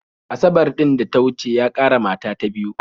Asabar ɗin da ta wuce ya ƙara mata ta biyu